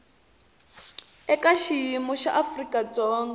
eka xiyimo xa afrika dzonga